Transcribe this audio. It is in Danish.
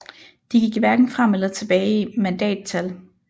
De gik hverken frem eller tilbage i mandattal